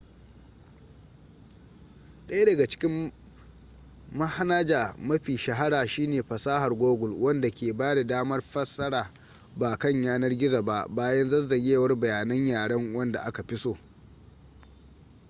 daya daga cikin mahanaja mafi shahara shine fasarar google wanda ke bada damar fasara ba kan yanar gizo ba bayan zazzagewar bayanan yaren wanda aka fi so